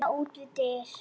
Rúna út við dyr.